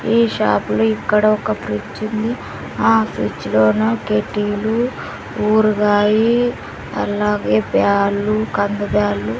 ఈ షాప్ లో ఇక్కడ ఒక ఫ్రిజ్ ఉంది ఆ ఫ్రిడ్జ్ లోన కెడ్డీలు ఊరగాయి అలాగే బ్యాలు కంది బ్యాలు.